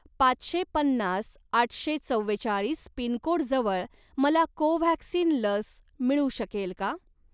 पाचशे पन्नास आठशे चव्वेचाळीस पिनकोडजवळ मला कोव्हॅक्सिन लस मिळू शकेल का?